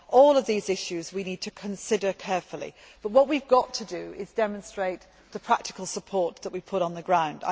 We need to consider all of these issues carefully, but what we have got to do is demonstrate the practical support that we put on the ground.